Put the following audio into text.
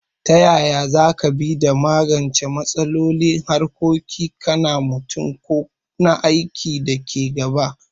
Ta yaya za ka bi da magance matsaloli a harkokin ka na mutum ko na aiki da ke gaba?